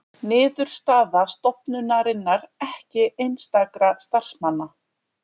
Niðurstaða stofnunarinnar ekki einstakra starfsmanna